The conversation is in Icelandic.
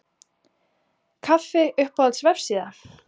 kaffi Uppáhalds vefsíða?